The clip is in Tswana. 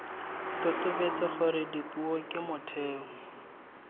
totobetse gore dipuo ke motheo